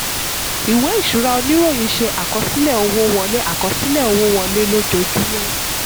ìwé ìṣura oníròyìn: ṣe àkọsílẹ̀ owó wọlé àkọsílẹ̀ owó wọlé lójoojúmọ́.